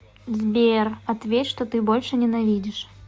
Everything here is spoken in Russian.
сбер ответь что ты больше ненавидишь